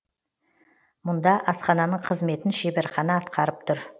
мұнда асхананың қызметін шеберхана атқарып тұр